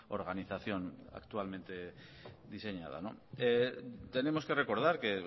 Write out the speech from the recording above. organización actualmente diseñada tenemos que recordar que